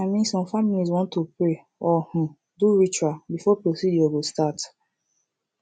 i min some familiz wan to pray or um do ritual before procedure go start